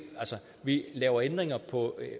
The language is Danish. vi laver nogle ændringer på